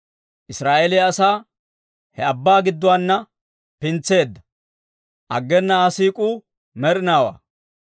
Israa'eeliyaa asaa, he abbaa gidduwaana pintseedda; aggena Aa siik'uu med'inaawaa.